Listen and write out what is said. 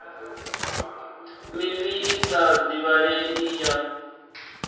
mivhi i sa divhalei ya